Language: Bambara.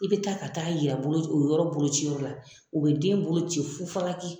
I bi taa ka taa yira bolo o yɔrɔ boloci yɔrɔla o be den boloci fu falaki